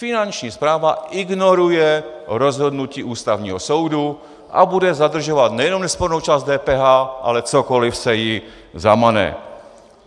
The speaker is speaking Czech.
Finanční správa ignoruje rozhodnutí Ústavního soudu a bude zadržovat nejenom nespornou část DPH, ale cokoli se jí zamane.